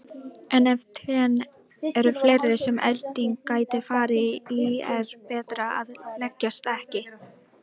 En ef trén eru fleiri sem elding gæti farið í er betra að leggjast ekki.